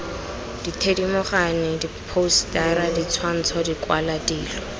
dithedimogane diphousetara ditshwantsho dikwalwa dilo